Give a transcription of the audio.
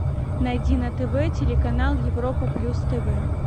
найди на тв телеканал европа плюс тв